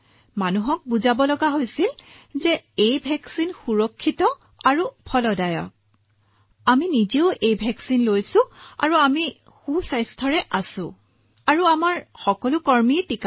মানুহক বুজাব লগীয়া হৈছিল যে এই প্ৰতিষেধকটো সুৰক্ষিত আৰু কাৰ্যকৰী আমিও লগাইছো আমি সুৰক্ষিত আছো আপোনালোকৰ সন্মুখতে আৰু আমাৰ কৰ্মচাৰী সকলোৱে লগাইছে সকলো ঠিকে আছে